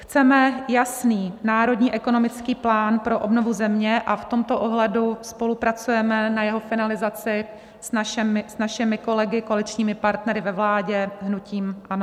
Chceme jasný národní ekonomický plán pro obnovu země a v tomto ohledu spolupracujeme na jeho finalizaci s našimi kolegy, koaličními partnery ve vládě, hnutím ANO.